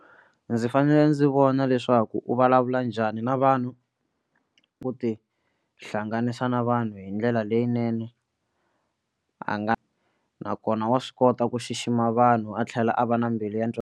Ndzi fanele ndzi vona leswaku u vulavula njhani na vanhu ku tihlanganisa na vanhu hi ndlela leyinene a nga nakona wa swi kota ku xixima vanhu a tlhela a va na mbilu ya .